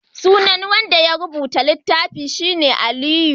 sunan wanda ya rubuta littafin shi ne Aliyu